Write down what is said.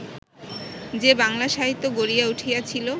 যে বাংলা সাহিত্য গড়িয়া উঠিয়াছিল